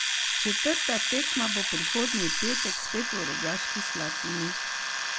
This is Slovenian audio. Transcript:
Četrta tekma bo prihodnji petek spet v Rogaški Slatini.